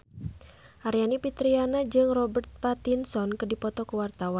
Aryani Fitriana jeung Robert Pattinson keur dipoto ku wartawan